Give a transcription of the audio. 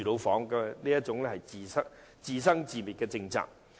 這是一項讓人自生自滅的政策。